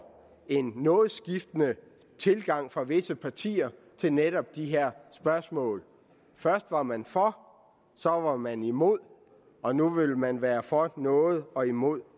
en noget skiftende tilgang fra visse partier til netop de her spørgsmål først var man for så var man imod og nu vil man være for noget og imod